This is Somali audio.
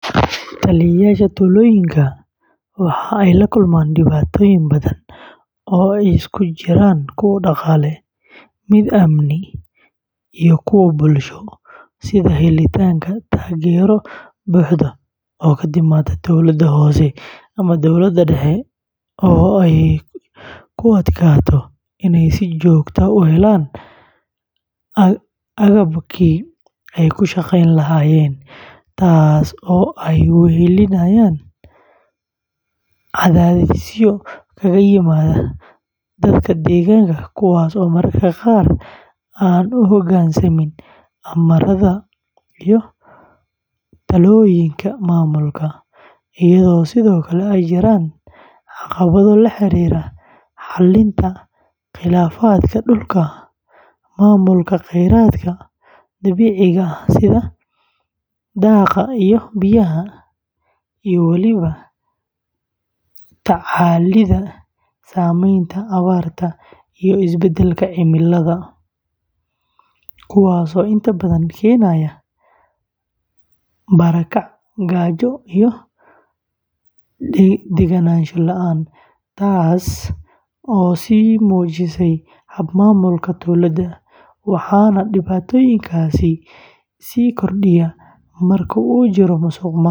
Taliyeyaasha tuulooyinka waxa ay la kulmaan dhibaatooyin badan oo isugu jira kuwo dhaqaale, mid amni, iyo kuwo bulsho, sida helitaanka taageero buuxda oo ka timaadda dowladda hoose ama dowladda dhexe oo ay ku adkaato inay si joogto ah u helaan agabkii ay ku shaqeyn lahaayeen, taasoo ay weheliyaan cadaadisyo kaga yimaada dadka deegaanka kuwaas oo mararka qaar aan u hogaansamin amarada iyo talooyinka maamulka, iyadoo sidoo kale ay jiraan caqabado la xiriira xallinta khilaafaadka dhulka, maamulka kheyraadka dabiiciga ah sida daaqa iyo biyaha, iyo weliba la tacaalidda saameynta abaarta iyo isbedelka cimilada, kuwaasoo inta badan keenaya barakac, gaajo, iyo deganaansho la’aan, taas oo sii murjisa hab-maamulka tuulada; waxaana dhibaatooyinkaasi sii kordhiya marka uu jiro musuqmaasuq.